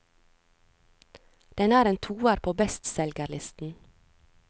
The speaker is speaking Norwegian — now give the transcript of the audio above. Den er en toer på bestselgerlisten.